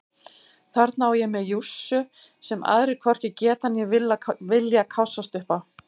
Þarna á ég mér jússu sem aðrir hvorki geta né vilja kássast upp á.